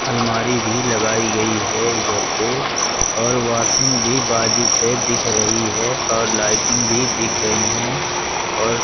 अलमारी भी लगाई गई है इधर पे और वॉशिंग भी बाजू पर दिख रही है और लाइटिंग भी दिख रही हैं और--